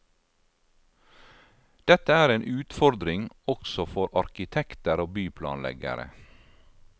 Dette er en utfordring også for arkitekter og byplanleggere.